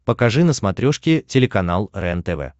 покажи на смотрешке телеканал рентв